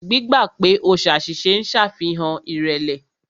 Gbígbà pè o ṣàṣìṣe ń ṣàfihàn ìrẹ̀lẹ̀.